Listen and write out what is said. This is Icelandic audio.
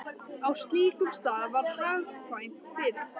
Á slíkum stað var hagkvæmt fyrir